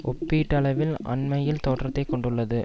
ஒப்பீட்டளவில் அண்மையில் தோற்றத்தை கொண்டுள்ளது